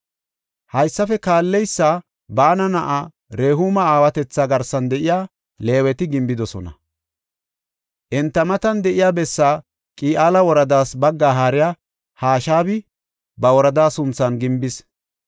Haysafe kaalleysa Baana na7aa Rehuuma aawatetha garsan de7iya Leeweti gimbidosona. Enta matan de7iya bessaa Qi7aala woradaas baggaa haariya Hashabi ba woradaa sunthan gimbis.